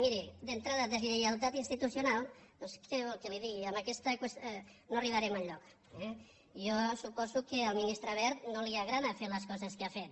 miri d’entrada desllei altat institucional doncs què vol que li digui amb aquesta qüestió no arribarem enlloc eh jo suposo que al ministre wert no li agrada fer les coses que ha fet